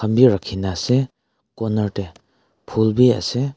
rakhi na ase corner teh phool bhi ase.